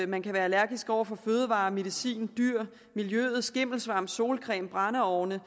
man kan være allergisk over for fødevarer medicin dyr miljøet skimmelsvamp solcreme brændeovne